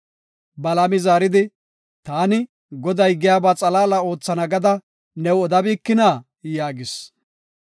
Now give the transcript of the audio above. Balaami zaaridi, “Taani Goday giyaba xalaala oothana gada new odabikina?” yaagis.